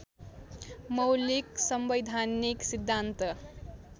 मौलिक संवैधानिक सिद्धान्त